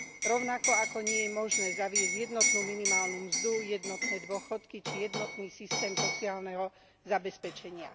Rovnako, ako nie je možné zaviesť jednotnú minimálnu mzdu, jednotné dôchodky, či jednotný systém sociálneho zabezpečenia.